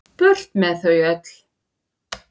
Burt með þau öll.